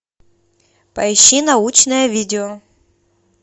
поищи научное видео